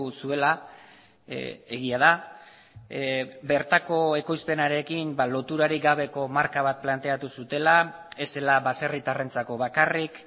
zuela egia da bertako ekoizpenarekin loturarik gabeko marka bat planteatu zutela ez zela baserritarrentzako bakarrik